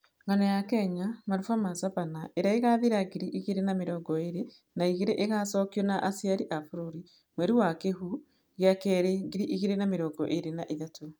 Ng'ano ya Kenya, "Maruba ma Savannah" ĩrĩa ĩgaathira ngiri igĩrĩ na mĩrongo ĩrĩ na igĩrĩ nĩ ĩgaacokio na "Aciari a Bũrũri" mweri wa Kĩhu gĩa Kerĩ ngiri igĩrĩ na mĩrongo ĩrĩ na ithatũ.